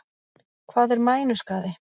Hvað er mænuskaði?